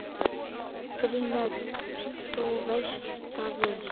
GRÍMUR: Þú veist það vel.